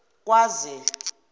kwaze